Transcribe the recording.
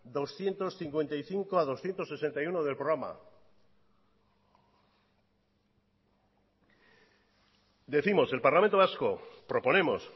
doscientos cincuenta y cinco a doscientos sesenta y uno del programa decimos el parlamento vasco proponemos